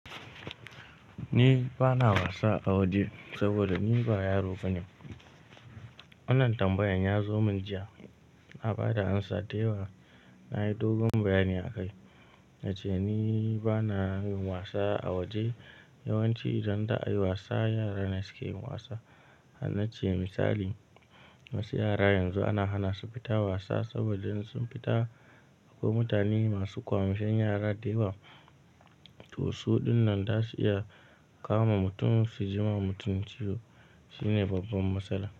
Ni bana wasa a waje saboda ni ba yaro bane. Wannan tambayan ya zo min jiya, na ba da amsa da yawa. Na yi dogon bayani a kai, nace "ni bana yin wasa a waje". Yawanci idan za'a yi wasa, yara ne suke yin wasa. Hanna ce misali, wasu yara yanzu ana hana su fita wasa saboda in sun fita, akwai mutane masu ƙwamushen yara da yawa. To su dinnan za su iya kama mutum, su ji ma mutum ciwo. Shi ne babban matsala.